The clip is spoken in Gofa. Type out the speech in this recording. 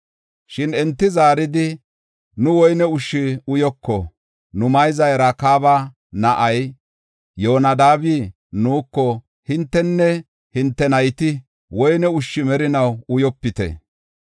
Shin enti zaaridi, “Nu woyne ushshu uyoko; nu mayzay Rakaaba na7ay Yoonadaabi nuuko, ‘Hintenne hinte nayti woyne ushshu merinaw uyopite.